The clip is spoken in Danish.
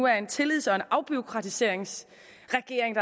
er en tillids og afbureaukratiseringsregering